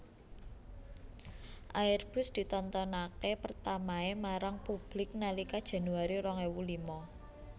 Airbus ditontonké pertamaé marang publik nalika Januari rong ewu lima